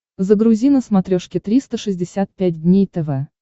загрузи на смотрешке триста шестьдесят пять дней тв